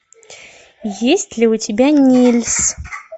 есть ли у тебя нильс